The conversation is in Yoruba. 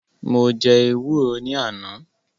Mo jẹ́ ewúro ní àná